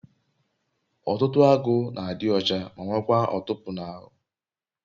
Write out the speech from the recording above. otutu agu na adi ocha ma nwekwa otupu n'ahu